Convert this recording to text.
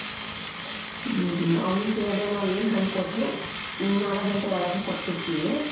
ಹ್ಮ್ ಹ್ಮ್ ಅವ್ಙ್ಗೆ ನಾವ್ ಏನ್ ಹಣ್ಣ್ ಕೊಟ್ರು ನಾಲಕ್ ಗಂಟೆ ಒಳಗೆ ಕೊಟ್ಟ್ ಬಿಡ್ತೀವಿ